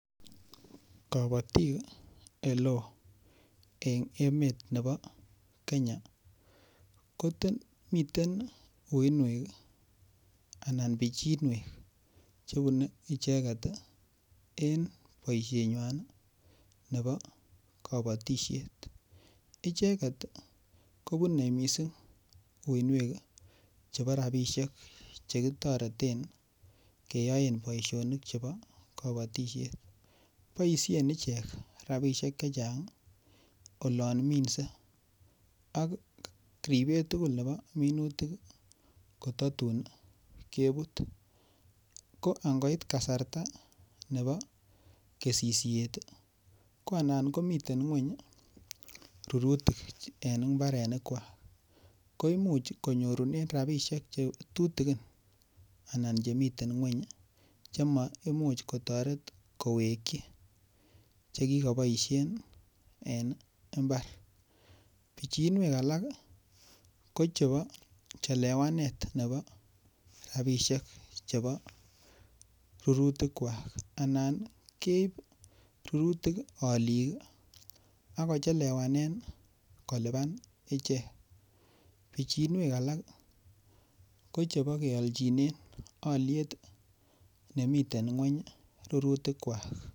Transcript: Kobotik ole en emet nebo Kenya kote miten uinuek anan pichinuek chebun icheket en boishenywannii nebo kobotishet icheket kobune missing uinuek chebo rabishek chemotoreten keyoen boishonik chebo kobotishet boishen ichek rabishek chechang olon mimse ak ripet tukul nebo minutik kotatun kebut, ko angoit kasarta nebo kesishet tii ko anan komii ngweny rurutik en imbarenik kwak ko imuch konyorunen rabishek chetutukin anan chemiten ngweny chemoimuch kotoret koweki chekikoboishen en imbar. Pichinuek alak ko chebo chelewanet nebo rabishek chebo rurutik kwak anan keib rurutik olik kii akochelewanen kilipan ichek, pichinuek alak ko chebo keoljinen oliet nemiten ngweny rurutik kwak.